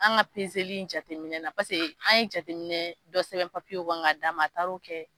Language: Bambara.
An ga pezeli in jateminɛ na pase an ye jateminɛ dɔ sɛbɛn papiye kɔnɔ k'a d'a ma a taar'o kɛ